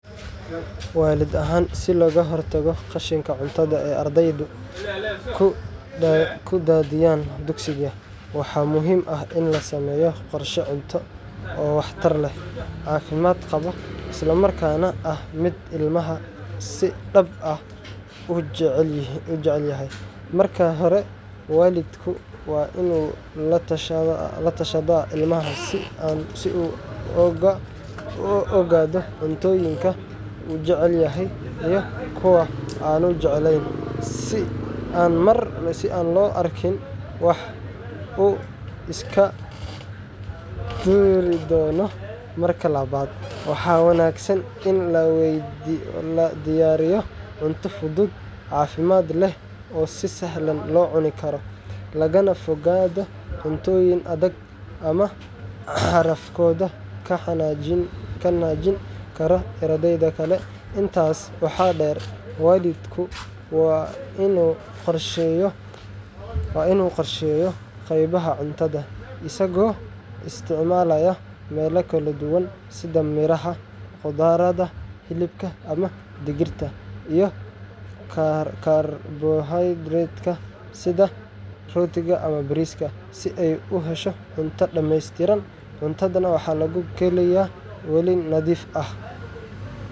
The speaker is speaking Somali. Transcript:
Waalid ahaan, si aan uga ilaaliyo qashinka cuntada ee ardayga dugsiga, waxaan qorsheyn karaa cunto gaar ah oo si wanaagsan loo habeeyey kuna saleysan waxa uu ilmuhu jecel yahay iyo baahida jirkiisa. Marka hore, waxaan ogaanayaa noocyada cuntooyinka uu ilmuhu si joogto ah u cunayo iyo kuwa uu iska dayaco, si aan u diyaariyo cunto uu xiiseynayo. Waxaan dooran karaa cunto fudud oo nafaqo leh sida miro la jarjaray, sanduuqyo yar yar oo cunto kulul ah, iyo cabitaano caafimaad qaba, anigoo ka fogaanaya waxyaabo badan oo si sahal ah loo tuuro. Intaa waxaa dheer, waxaan ka qeybgelin karaa cunugga diyaarinta cuntada si uu u dareemo in uu leeyahay doorasho, taas oo kordhineysa fursadda uu cunto ugu dhammeeyo. Ugu dambeyn, waan la socon karaa wixii uu cuno iyo wixii uu dib u soo celiyo si aan ugu hagaajiyo qorshaha maalmaha xiga. Habkan wuxuu yareynayaa qashinka cuntada isla markaana kobcinayaa caafimaadka ilmaha.